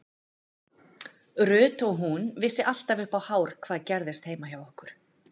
Ruth og hún vissi alltaf upp á hár hvað gerðist heima hjá okkur.